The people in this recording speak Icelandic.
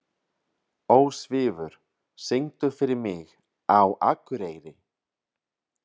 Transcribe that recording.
Ósvífur, syngdu fyrir mig „Á Akureyri“.